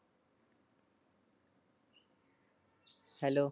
hello